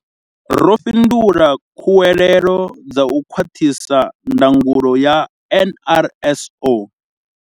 Ro fhindula khuwelelo dza u khwaṱhisa ndangulo ya NRSO.